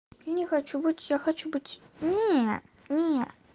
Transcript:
я не хочу быть я хочу быть не не